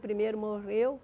O primeiro morreu.